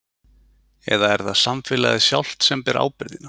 Eða er það samfélagið sjálft sem ber ábyrgðina?